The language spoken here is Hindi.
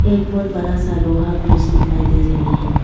एक बहुत बरा सा लोहा ब्रिज दिखाई दे रहे है।